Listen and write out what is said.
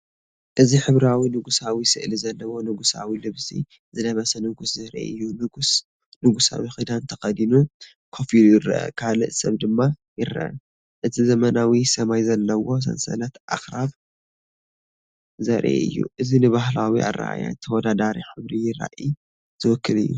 እዚ ሕብራዊ ንጉሳዊ ስእሊ ዘለዎ ንጉሳዊ ልብሲ ዝለበሰ ንጉስ ዘርኢ እዩ። ንጉስ ንጉሳዊ ክዳን ተኸዲኑ ኮፍ ኢሉ ይረአ ካልእ ሰብ ድማ ይረአ። እዚ ዘመናዊ ሰማይ ዘለዎ ሰንሰለት ኣኽራን ዘርኢ እዩ። እዚ ንባህላዊ ኣረኣእያን ተወዳዳሪ ሕብራዊ ራእይን ዝውክል እዩ።